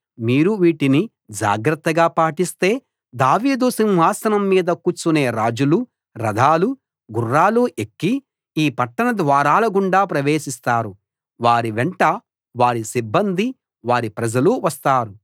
మీరు వీటిని జాగ్రత్తగా పాటిస్తే దావీదు సింహాసనం మీద కూర్చునే రాజులు రథాలూ గుర్రాలూ ఎక్కి ఈ పట్టణ ద్వారాలగుండా ప్రవేశిస్తారు వారి వెంట వారి సిబ్బందీ వారి ప్రజలూ వస్తారు